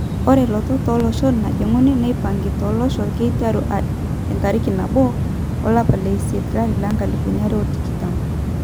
Ore lotot oloshon najinguni neipangi tolosho keiteru entariki 1 nabo olapa leisiet 2020